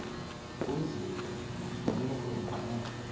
uzive usoloko ungxola